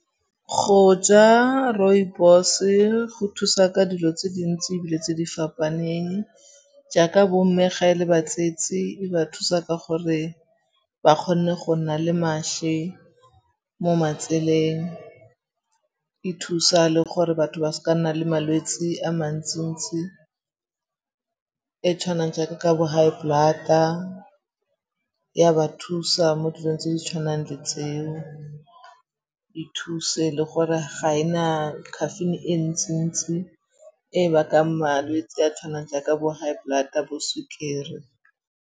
Go ja rooibos-e go thusa ka dilo tse dintsi ebile tse di fapaneng jaaka bo mme ga e le batsetsi e ba thusa ka gore ba kgone go nna le mašwi mo matseleng. E thusa le gore batho ba se ka nna le malwetsi a mantsi-ntsi a tshwanang jaaka ka bo high blood-a. Ya ba thusa mo dilong tse di tshwanang le tseo. E thuse le gore ga e na caffeine e ntsi-ntsi e bakang malwetse a tshwanang jaaka bo high blood-a, bo sukiri.